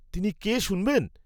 তিনি কে শুনবেন?